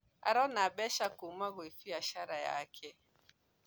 Araona mbeca kũuma kwĩ biacara yake